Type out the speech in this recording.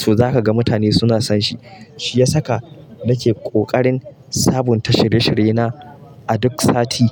to zaka ga mutane suna son shi. Shi ya saka nake kokarin sabunta shirye-shiryena a duk sati.